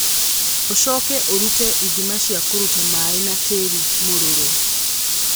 Ũcoke ũrute ithima cia kũruta maĩ na tĩĩri mũruru.